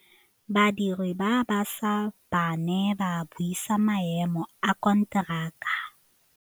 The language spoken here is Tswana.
Badiri ba baša ba ne ba buisa maêmô a konteraka.